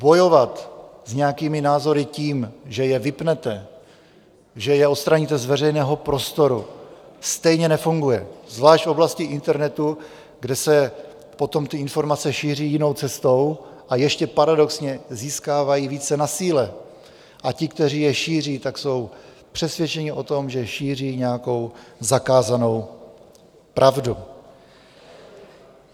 Bojovat s nějakými názory tím, že je vypnete, že je odstraníte z veřejného prostoru, stejně nefunguje, zvlášť v oblasti internetu, kde se potom ty informace šíří jinou cestou, ještě paradoxně získávají více na síle a ti, kteří je šíří, tak jsou přesvědčeni o tom, že šíří nějakou zakázanou pravdu.